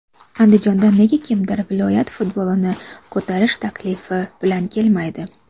Andijondan nega kimdir viloyat futbolini ko‘tarish taklifi bilan kelmaydi?